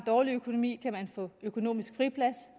dårlig økonomi kan få økonomisk friplads